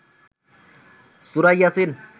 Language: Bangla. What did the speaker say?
সুরা ইয়াসিন